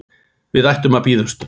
Við ættum að bíða um stund